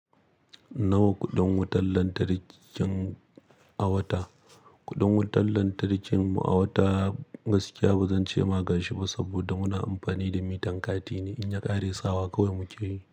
Nawa kuɗin wutar lantarkin a wata? Kuɗin wutar lantarkin mu a wata gaskiya ba zan ce ma ka shi ba, saboda muna amfani da mitan kati ne. In ya ƙare sawa kawai muke yi.